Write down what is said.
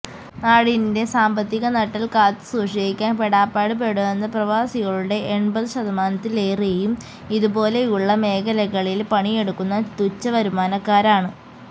നാടിന്റെ സാമ്പത്തിക നട്ടെല്ല് കാത്തു സൂക്ഷിക്കാന് പെടാപ്പാട് പെടുന്ന പ്രവാസികളുടെ എണ്പത് ശതമാനത്തിലേറെയും ഇതുപോലെയുള്ള മേഖലകളില് പണിയെടുക്കുന്ന തുഛ വരുമാനക്കാരാണ്